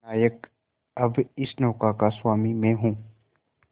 नायक अब इस नौका का स्वामी मैं हूं